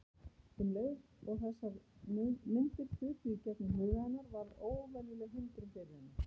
Um leið og þessar myndir þutu í gegnum huga hennar varð óvenjuleg hindrun fyrir henni.